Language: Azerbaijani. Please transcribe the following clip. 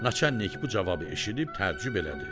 Naçallnik bu cavabı eşidib təəccüb elədi.